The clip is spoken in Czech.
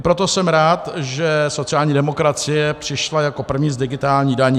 I proto jsem rád, že sociální demokracie přišla jako první s digitální daní.